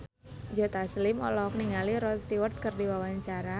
Joe Taslim olohok ningali Rod Stewart keur diwawancara